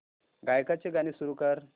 गायकाचे गाणे सुरू कर